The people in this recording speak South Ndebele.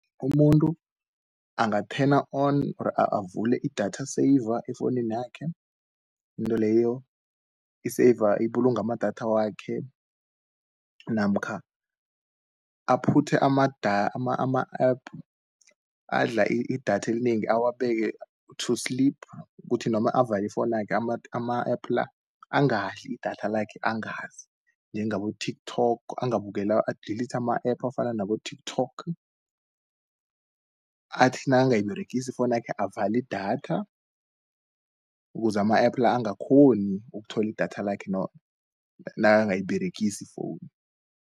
Umuntu angathena on, or avule idatha seyiva efouninakhe. Intweleyo ibulunga amadatha wakhe, namkha aphuthe ama-App adla idatha elinengi awabeke to-sleep, kuthi noma avali ifounakhe ama-App la, angadli idatha lakhe angazi, njengabo-TikTok. A-delete ama-app afana nabo-TikTok, athi nangayiberegisi ifounakhe avalidatha, kuze ama-app angakghoni ukutholi idatha lakhe nangayiberegisi ifowunu.